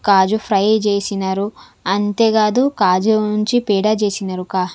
కాజు fry చేసినారు అంతేకాదు కాజు నుంచి పేడా చేసినారు కా --